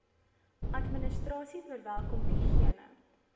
administrasie verwelkom diegene